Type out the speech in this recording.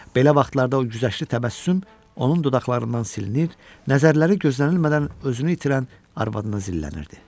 Belə vaxtlarda o güzəştli təbəssüm onun dodaqlarından silinir, nəzərləri gözlənilmədən özünü itirən arvadına zillənirdi.